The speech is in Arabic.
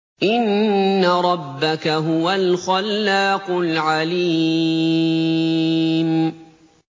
إِنَّ رَبَّكَ هُوَ الْخَلَّاقُ الْعَلِيمُ